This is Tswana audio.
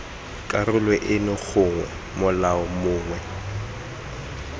karolo eno gongwe molao mongwe